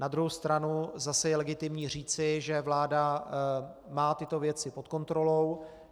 Na druhou stranu zase je legitimní říci, že vláda má tyto věci pod kontrolou.